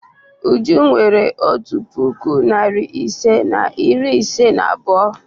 Uju nwere otu puku, narị ise na iri ise na abụọ.